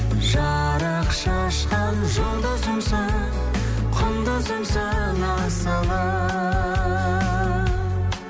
жарық шашқан жұлдызымсың құндызымсың асылым